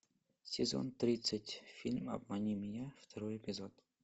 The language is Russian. сезон тридцать фильм обмани меня второй эпизод